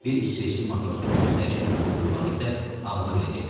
Bir isveçli matrosun göstərişi ilə oturub durmağı isə ağlına belə gətirmirdi.